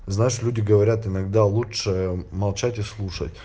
знаешь люди говорят иногда лучше молчать и слушать